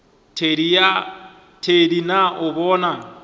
thedi na o a bona